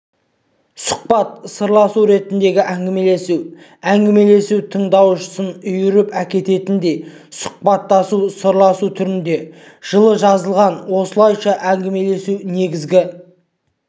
сұхбат сырласу ретіндегі әңгімелесу әңгімелесу тыңдаушысын үйіріп әкететіндей сұхбаттасу сырласу түрінде жылы жазылған осылайша әңгімелесу негізгі